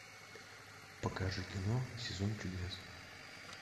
покажи кино сезон чудес